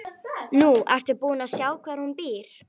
Nú ertu búin að sjá hvar hún býr.